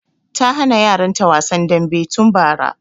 Ta hana yaran ta wasan dambe tun bara